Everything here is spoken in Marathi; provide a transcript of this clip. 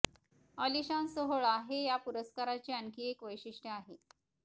आलिशान सोहळा हे या पुरस्काराचे आणखी एक वैशिष्टय आहे